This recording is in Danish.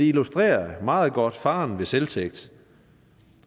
illustrerer meget godt faren ved selvtægt